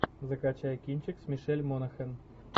закачай кинчик с мишель монахэн